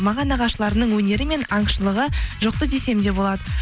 маған нағашыларымның өнері мен аңшылығы жұқты десем де болады